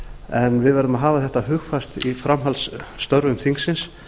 en við verðum að hafa þetta hugfast í framhaldsstörfum þingsins